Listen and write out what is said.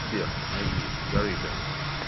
сбер найди гарибиан